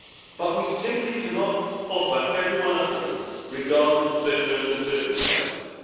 But we simply cannot offer everyone a home, regardless of their personal circumstances.